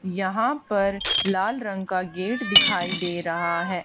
यहां पर लाल रंग का गेट दिखाई दे रहा है।